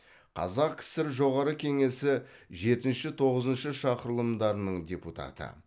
қазақ кср жоғарғы кеңесі жетінші тоғызыншы шақырылымдарының депутаты